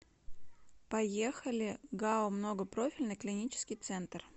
поехали гау многопрофильный клинический центр